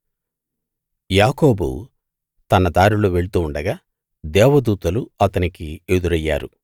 యాకోబు తన దారిలో వెళ్తూ ఉండగా దేవదూతలు అతనికి ఎదురయ్యారు